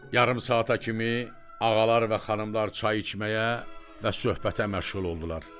Yarım saata kimi ağalar və xanımlar çay içməyə və söhbətə məşğul oldular.